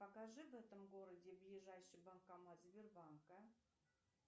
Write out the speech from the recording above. покажи в этом городе ближайший банкомат сбербанка